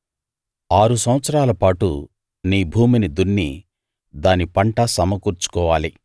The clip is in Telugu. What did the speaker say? ఆరు సంవత్సరాల పాటు నీ భూమిని దున్ని దాని పంట సమకూర్చుకోవాలి